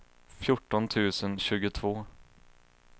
fjorton tusen tjugotvå